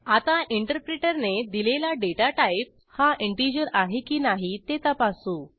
आता इंटरप्रीटरने दिलेला डेटा टाईप हा इंटिजर आहे की नाही ते तपासू